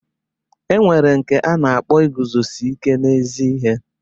E nwere nke a na-akpọ iguzosi ike n'ezi ihe.